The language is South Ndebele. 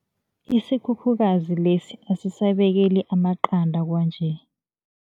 Isikhukhukazi lesi asisabekeli amaqanda kwanje.